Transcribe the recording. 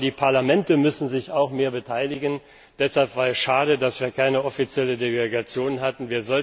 Die Parlamente müssen sich auch mehr beteiligen, deshalb war es schade, dass wir keine offizielle Delegation hatten.